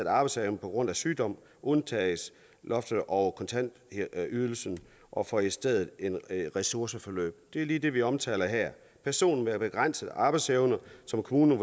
arbejdsevne på grund af sygdom undtages loftet over kontanthjælpsydelsen og får i stedet et ressourceforløb det er lige det vi omtaler her personer med begrænset arbejdsevne som kommunen